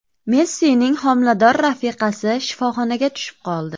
Messining homilador rafiqasi shifoxonaga tushib qoldi.